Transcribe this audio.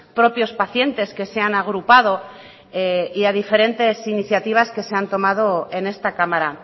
propios pacientes que se han agrupado y a diferentes iniciativas que se han tomado en esta cámara